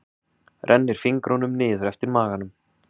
Rennir fingrunum niður eftir maganum.